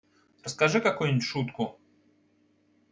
расскажи какую-нибудь шутку